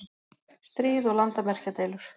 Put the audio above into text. stríð og landamerkjadeilur.